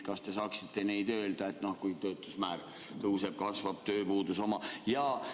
Kas te saaksite neid öelda, et noh, kui töötuse määr tõuseb, siis kasvab tööpuuduse oma?